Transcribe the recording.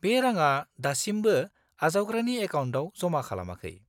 -बे राङा दासिमबो आजावग्रानि एकाउन्टाव जमा खालामाखै।